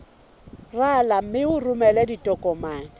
rala mme o romele ditokomene